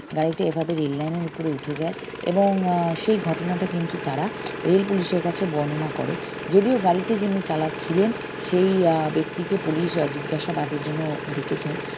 গাড়িটা এভাবে rail line এর উপরে উঠে যায় এবং আহ সেই ঘটনাটা কিন্তু তারা rail পুলিশের কাছে বর্ণনা করে যদিও গাড়িটি যিনি চালাচ্ছিলেন সেই আহ ব্যক্তিকে পুলিশ জিজ্ঞাসাবাদের জন্য ডেকেছেন